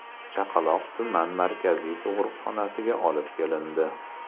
Chaqaloq tuman markaziy tug‘ruqxonasiga olib kelindi.